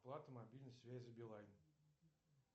оплата мобильной связи билайн